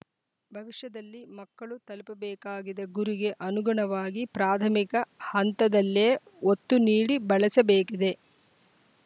ಭವಿಷ್ಯದಲ್ಲಿ ಮಕ್ಕಳು ತಲುಪಬೇಕಾಕಿದ ಗುರಿಗೆ ಅನುಗುಣವಾಗಿ ಪ್ರಾಧಮಿಕ ಹಂತದಲ್ಲೇ ಒತ್ತು ನೀಡಿ ಬೆಳೆಸಬೇಕಿದೆ